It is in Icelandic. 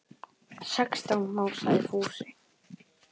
Sextán másaði Fúsi.